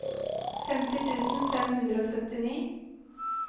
femti tusen fem hundre og syttini